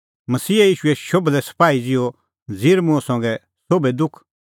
मसीहा ईशूए शोभलै सपाही ज़िहअ ज़िर मुंह संघै सोभै दुख